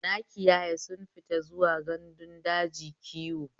Nakiyaya sun fita zuwa gandun daji kiwo.